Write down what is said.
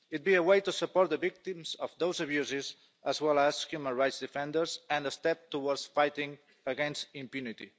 It would be a way to support the victims of those abuses as well as human rights defenders and a step towards fighting against impunity.